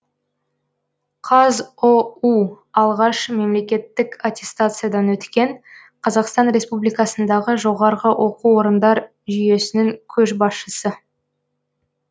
қазұу алғаш мемлекеттік аттестациядан өткен қазақстан республикасындағы жоғарғы оқу орындар жүйесінің көшбасшысы